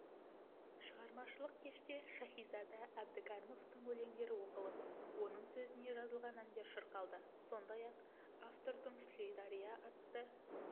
шығармашылық кеште шаһизада әбдікәрімовтың өлеңдері оқылып оның сөзіне жазылған әндер шырқалды сондай-ақ автордың сүлей дария атты